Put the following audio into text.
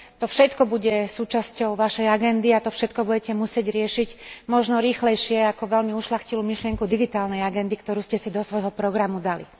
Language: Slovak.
To všetko bude súčasťou vašej agendy a to všetko budete musieť riešiť možno rýchlejšie ako veľmi ušľachtilú myšlienku digitálnej agendy, ktorú ste si do svojho programu dali.